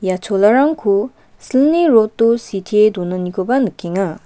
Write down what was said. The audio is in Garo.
ia cholarangko silni rod-o sitee donanikoba nikenga.